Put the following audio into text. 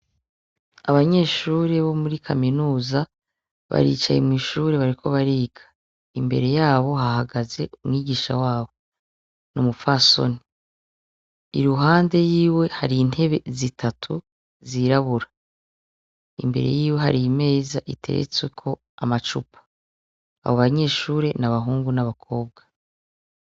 Abanyeshure bo muri kaminuza baricaye mw'ishure bariko bariga. Imbere yabo hahagaze umwigisha wabo. Numupfasoni. Iruhande yiwe hari intebe zitatu zirabura. Imbere yiwe hari imeza iteretsweko amacupa. Abo banyeshure n'abahungu n'abakobwa.